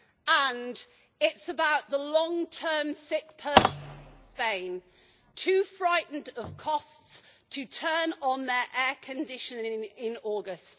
And it is about the long term sick person in Spain, too frightened of costs to turn on their air conditioning in August.